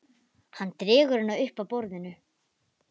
Hann dregur hana upp að borðinu.